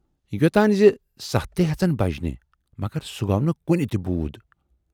یوتانۍ زِ سَتھ تہِ ہٮ۪ژن بَجنہِ، مگر سُہ گَو نہٕ کُنہِ تہِ بوٗد۔